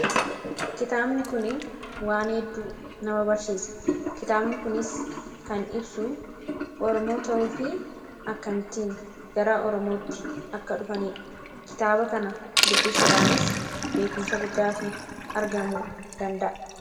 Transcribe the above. Kitaabni kun waan hedduu nama barsiisa. Kitaabni kunis kan ibsu Oromoo ta'uu fi akkamittiin gara Oromootti akka dhufani dha. Kitaaba kana duubisuudhaanis beekumsa guddaa tu argamuu danda'a.